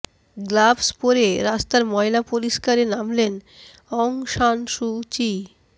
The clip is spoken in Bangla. গ্লাভস পরে রাস্তার ময়লা পরিষ্কারে নামলেন অং সান সু চি